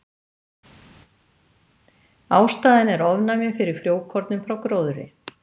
Ástæðan er ofnæmi fyrir frjókornum frá gróðri.